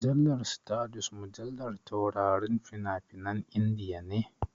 Mujallar Stardust mujallar taurarin fina-finan Indiya ne.